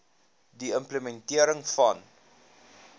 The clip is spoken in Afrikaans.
die implementering van